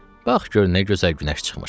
qalx gör nə gözəl günəş çıxıb.